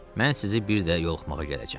Mən sizi bir də yoluxmağa gələcəm.